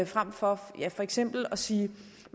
frem for for eksempel at sige